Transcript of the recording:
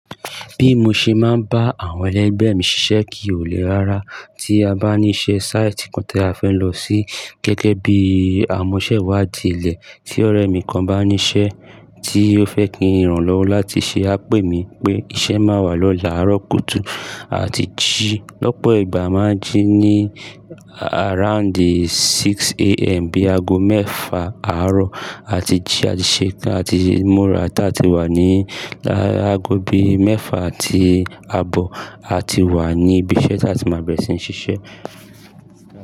Bí mo ṣe máa ń bá àwọn ẹlẹgbẹ́ mi ṣiṣẹ́ kì í le lára. Tí a bá ní iṣẹ́ sáìtì kan tí a fẹ́ lọ sí gẹ́gẹ́ bí amọ́ṣẹ́ wá di ilẹ̀, tí ọ̀rẹ́ mi kan bá ní iṣẹ́ tí ó fẹ́ kí n ràn án lọ́wọ́ láti ṣe, á pè mí pé iṣẹ́ máa wà lọ́la àárọ̀ kùtù àti jí. Lọ́pọ̀ ìgbà a máa ń jí ní around 6am bí aago mẹ́ẹ̀fa àárọ̀ àti jí, a ti ṣeká àti múra tá a ti wà ní aago bí mẹ́ẹ̀fa àti àbọ̀. A ti wà ní ibi iṣẹ́ tá a ti máa bẹ̀rẹ̀ sí ní ṣiṣẹ́.